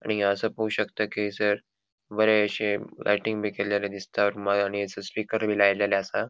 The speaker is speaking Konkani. आणि या असा पोळो शकता कि हयसर बरेशे लाइटिंग बी केल्लेले दिसता रूमान आणि हयसर स्पीकर बी लाएलेले असा.